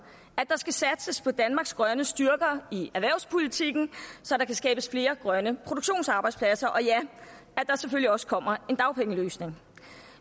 at der skal satses på danmarks grønne styrker i erhvervspolitikken så der kan skabes flere grønne produktionsarbejdspladser og ja at der selvfølgelig også kommer en dagpengeløsning